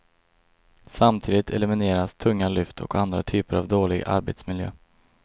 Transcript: Samtidigt elimineras tunga lyft och andra typer av dålig arbetsmiljö.